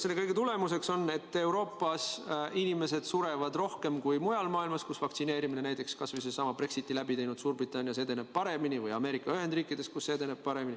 Selle kõige tagajärg on, et Euroopas sureb inimesi rohkem kui mujal maailmas, kus vaktsineerimine edeneb paremini – näiteks kas või sellessamas Brexiti läbi teinud Suurbritannias või Ameerika Ühendriikides.